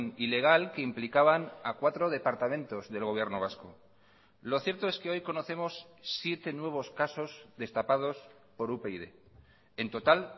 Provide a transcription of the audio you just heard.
ilegal que implicaban a cuatro departamentos del gobierno vasco lo cierto es que hoy conocemos siete nuevos casos destapados por upyd en total